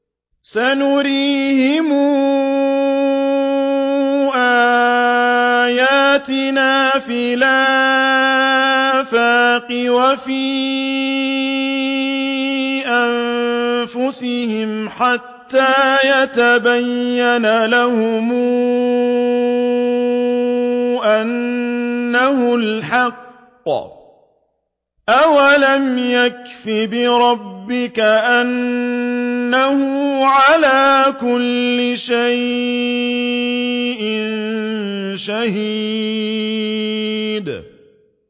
سَنُرِيهِمْ آيَاتِنَا فِي الْآفَاقِ وَفِي أَنفُسِهِمْ حَتَّىٰ يَتَبَيَّنَ لَهُمْ أَنَّهُ الْحَقُّ ۗ أَوَلَمْ يَكْفِ بِرَبِّكَ أَنَّهُ عَلَىٰ كُلِّ شَيْءٍ شَهِيدٌ